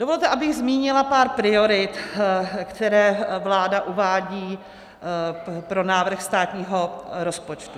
Dovolte, abych zmínila pár priorit, které vláda uvádí pro návrh státního rozpočtu.